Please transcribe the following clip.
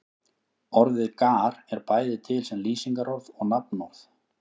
Orðið gar er bæði til sem lýsingarorð og nafnorð.